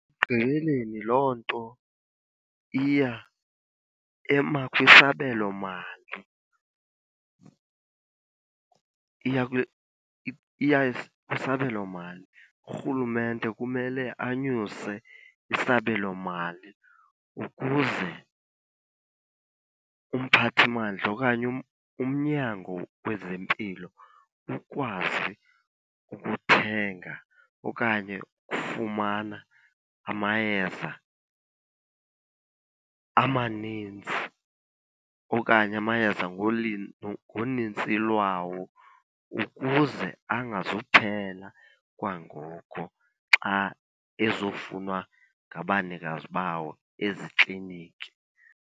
Ekugqibeleni loo nto iya kwisabelomali iya iya kwisabelomali. Urhulumente kumele anyuse isabelomali ukuze umphathi mandla okanye umnyango wezempilo ukwazi ukuthenga okanye ukufumana amayeza amanintsi okanye amayeza ngonintsi lwawo, ukuze angazuphela kwangoku xa ezofunwa ngabanikazi bawo ezikliniki.